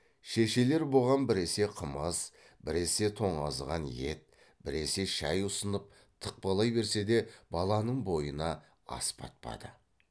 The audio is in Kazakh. шешелері бұған біресе қымыз біресе тоңазыған ет біресе шай ұсынып тықпалай берсе де баланың бойына ас батпады